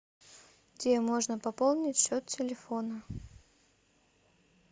где можно пополнить счет телефона